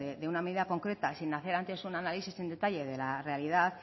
de una medida concreta sin hacer antes un análisis en detalle de la realidad